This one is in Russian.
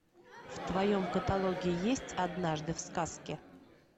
в твоем каталоге есть однажды в сказке